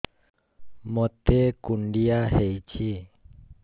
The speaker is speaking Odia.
ମୋତେ କୁଣ୍ଡିଆ ହେଇଚି